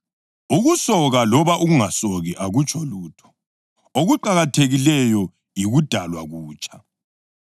Ukusoka loba ukungasoki akutsho lutho; okuqakathekileyo yikudalwa kutsha.